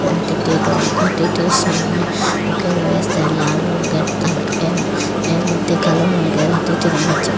হাতিটির রং হাতিটির সামনে মুখে রয়েছে লাল রঙের এর এর মদ্যে কালো রঙের হাতিটির রং হচ্ছে কালো।